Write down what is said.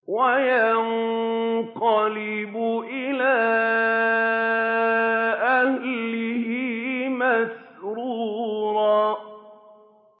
وَيَنقَلِبُ إِلَىٰ أَهْلِهِ مَسْرُورًا